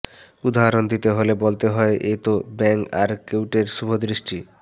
উদাহরণ দিতে হলে বলতে হয় এ তো ব্যাঙ আর কাউটের শুভদৃষ্টি